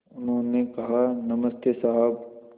उन्होंने कहा नमस्ते साहब